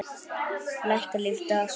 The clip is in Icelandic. Lækkar lífdaga sól.